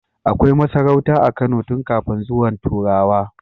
Akai masarauta a Kano tun kafin zuwan turawa